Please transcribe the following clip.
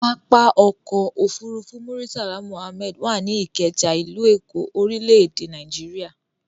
Pápá-ọkọ̀ òfurufú Murtala Muhammed wà ní Ìkẹjà, ìlú Èkó, orílẹ̀-èdè Nàíjíríà.